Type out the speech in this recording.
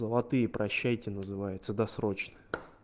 золотые прощайте называется досрочно